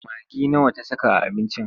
Magi nawa ta saka a abincin?